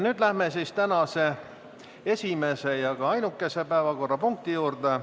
Nüüd läheme tänase esimese ja ühtlasi ainukese päevakorrapunkti juurde.